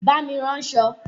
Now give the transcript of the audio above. Bá mi ránṣọ!